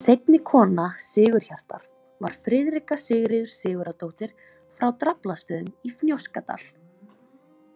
Seinni kona Sigurhjartar var Friðrika Sigríður Sigurðardóttir frá Draflastöðum í Fnjóskadal.